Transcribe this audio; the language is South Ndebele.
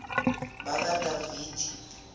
bakadavidi